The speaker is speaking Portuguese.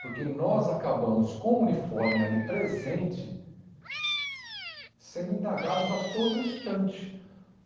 Porque nós acabamos com o uniforme ali presente, sendo indagados a todo instante.